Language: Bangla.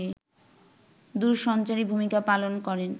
দূরসঞ্চারী ভূমিকা পালন করেন